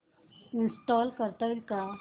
install करता येईल का